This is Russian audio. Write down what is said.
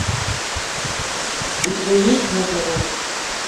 у тебя есть нежный возраст